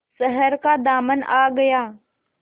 शहर का दामन आ गया